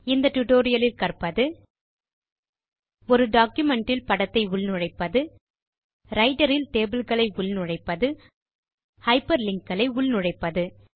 இந்த டியூட்டோரியல் லில் கற்பது ஒரு டாக்குமென்ட் இல் படத்தை உள்நுழைப்பது ரைட்டர் இல் டேபிள் களை உள்நுழைப்பது ஹைப்பர்லிங்க் களை உள்நுழைப்பது